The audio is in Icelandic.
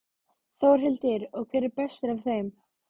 Þórhildur: Og hver er bestur af þeim?